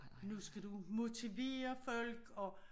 Nu skal du motivere folk og